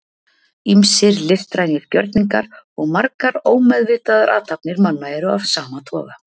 ýmsir listrænir gjörningar og margar ómeðvitaðar athafnir manna eru af sama toga